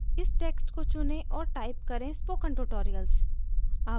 इस text को चुनें और type करें spoken tutorials